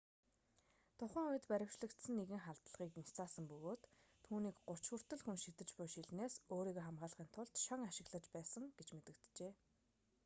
тухайн үед баривчлагдсан нэгэн халдлагыг няцаасан бөгөөд түүнийг гуч хүртэл хүн шидэж буй шилнээс өөрийгөө хамгаалахын тулд шон ашиглаж байсан гэж мэдэгджээ